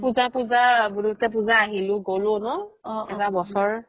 পুজা পুজা বুলোতে পুজা আহিলো গ'লো ন এটা বছৰ